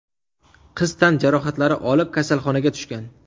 Qiz tan jarohatlari olib kasalxonaga tushgan.